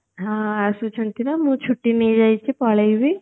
ହଁ ଆସୁଛନ୍ତି ତ ମୁଁ ଛୁଟି ନେଇ ଯାଇଛି ପଳେଇବି